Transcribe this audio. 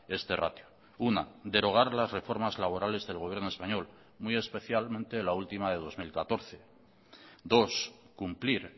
este ratio una derogar las reformas laborales del gobierno español muy especialmente la última de dos mil catorce dos cumplir